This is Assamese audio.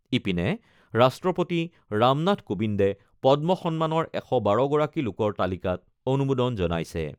ইপিনে, ৰাষ্ট্ৰপতি ৰামনাথ কোবিন্দে পদ্ম সন্মানৰ ১১২গৰাকী লোকৰ তালিকাত অনুমোদন জনাইছে।